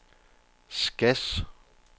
Skads